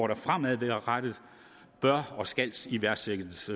der fremadrettet bør og skal iværksættes